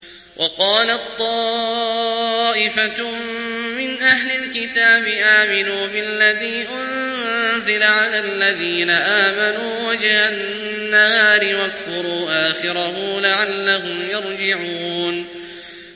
وَقَالَت طَّائِفَةٌ مِّنْ أَهْلِ الْكِتَابِ آمِنُوا بِالَّذِي أُنزِلَ عَلَى الَّذِينَ آمَنُوا وَجْهَ النَّهَارِ وَاكْفُرُوا آخِرَهُ لَعَلَّهُمْ يَرْجِعُونَ